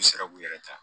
U sera k'u yɛrɛ ta